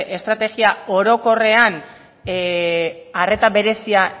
estrategia orokorrean arreta berezia